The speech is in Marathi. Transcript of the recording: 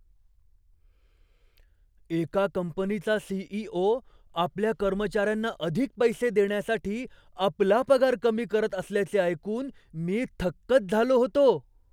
एका कंपनीचा सी.इ.ओ. आपल्या कर्मचाऱ्यांना अधिक पैसे देण्यासाठी आपला पगार कमी करत असल्याचे ऐकून मी थक्कच झालो होतो.